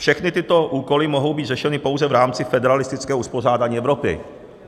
- Všechny tyto úkoly mohou být řešeny pouze v rámci federalistického uspořádání Evropy.